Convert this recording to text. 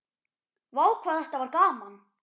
Vá hvað þetta var gaman.